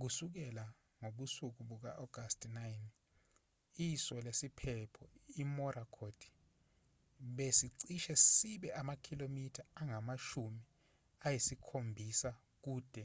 kusukela ngobusuku buka-agasti 9 iso lesiphepho imorakot besicishe sibe amakhilomitha angamashumi ayisikhombisakude